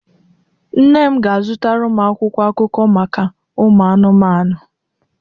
Nne m ga-azụtara m akwụkwọ akụkọ maka ụmụanụmanụ.